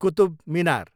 Qutub Minar